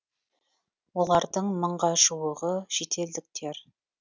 олардың мыңға жуығы шетелдіктер